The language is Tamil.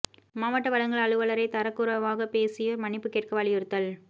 மாவட்ட வழங்கல் அலுவலரைத் தரக்குறைவாகப் பேசியோா் மன்னிப்பு கேட்க வலியுறுத்தல்